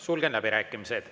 Sulgen läbirääkimised.